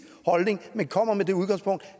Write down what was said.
holdning men kommer med det udgangspunkt